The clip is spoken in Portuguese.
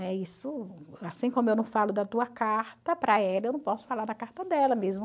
É isso... Assim como eu não falo da tua carta para ela, eu não posso falar da carta dela mesmo.